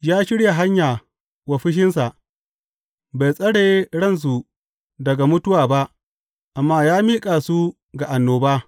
Ya shirya hanya wa fushinsa; bai tsare ransu daga mutuwa ba amma ya miƙa su ga annoba.